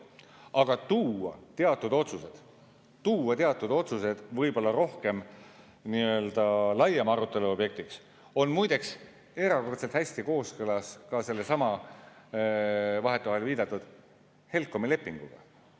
Aga tuua teatud otsused võib-olla rohkem nii‑öelda laiema arutelu objektiks on muide erakordselt hästi kooskõlas ka sellesama vahetevahel viidatud HELCOM‑i lepinguga.